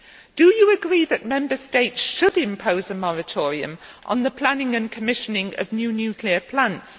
Do you agree that Member States should impose a moratorium on the planning and commissioning of new nuclear plants?